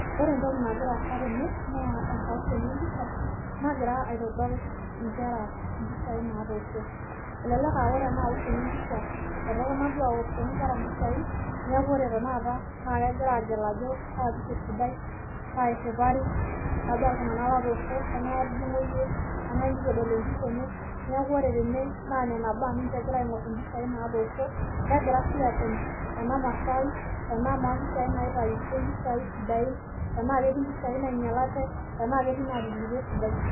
Ore entoki nagira sasa naa enkaoshoni empisha, nagira aitodol nkera mpishai naatosho, peyie etumoki aategel ajo kaa pisha esidai naa kaa iriwuari oltungani pookin otooshoki empisha nelimu sii tenaa ketii neitu ewosho esidai.